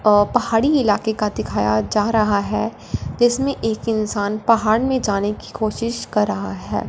और पहाड़ी इलाके का दिखाया जा रहा है इसमें एक इंसान पहाड़ में जाने की कोशिश कर रहा है।